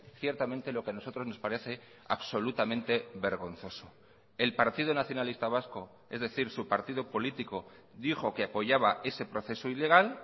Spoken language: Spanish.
ciertamente lo que a nosotros nos parece absolutamente vergonzoso el partido nacionalista vasco es decir su partido político dijo que apoyaba ese proceso ilegal